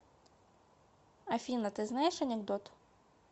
афина ты знаешь анекдот